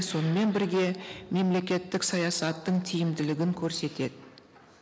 сонымен бірге мемлекеттік саясаттың тиімділігін көрсетеді